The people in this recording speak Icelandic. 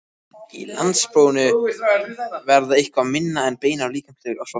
Í landsprófinu varð eitthvað minna um beinar líkamlegar ofsóknir.